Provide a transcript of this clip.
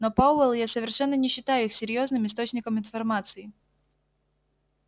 но пауэлл я совершенно не считаю их серьёзным источником информации